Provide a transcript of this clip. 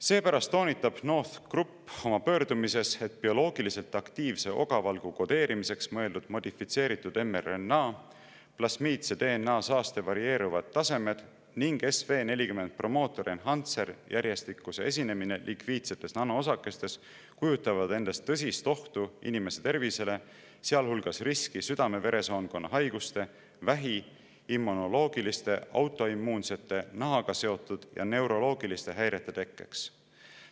Seepärast toonitab NORTH Group oma pöördumises, et bioloogiliselt aktiivse ogavalgu kodeerimiseks mõeldud modifitseeritud mRNA, plasmiidse DNA saaste varieeruvad tasemed ning SV40 promoter-enhancer'i järjestuse esinemine lipiidsetes nanoosakestes kujutavad endast tõsist ohtu inimeste tervisele, sealhulgas riski südame-veresoonkonna haiguste, vähi ning immunoloogiliste, autoimmuunsete, nahaga seotud ja neuroloogiliste häirete tekkeks.